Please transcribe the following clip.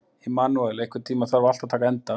Immanúel, einhvern tímann þarf allt að taka enda.